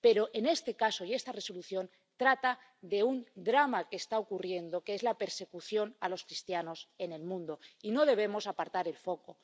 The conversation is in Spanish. Pero este caso —y esta Resolución— trata de un drama que está ocurriendo, que es la persecución a los cristianos en el mundo, y no debemos apartar el foco.